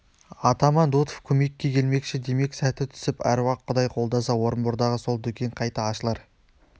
атаман дутов көмекке келмекші демек сәті түсіп аруақ-құдай қолдаса орынбордағы сол дүкен қайта ашылар